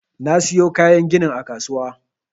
Na siyo kayan ginin a kasuwa.